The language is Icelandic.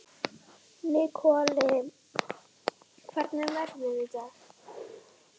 Nikolai, hvernig er veðrið í dag?